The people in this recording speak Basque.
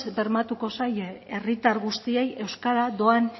bermatuko zaie herritar guztiei euskara doan